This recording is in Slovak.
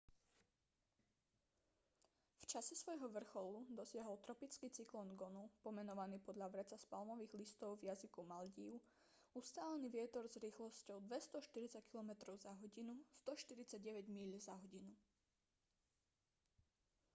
v čase svojho vrcholu dosiahol tropický cyklón gonu pomenovaný podľa vreca z palmových listov v jazyku maldív ustálený vietor s rýchlosťou 240 kilometrov za hodinu 149 míľ za hodinu